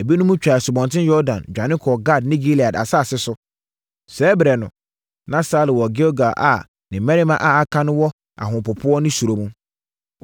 Ebinom twaa Asubɔnten Yordan dwane kɔɔ Gad ne Gilead asase so. Saa ɛberɛ no, na Saulo wɔ Gilgal a ne mmarima a wɔka ne ho no wɔ ahopopoɔ ne suro mu.